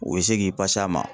U bɛ se k'i a ma.